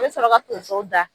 Be sɔrɔ ka tonsow da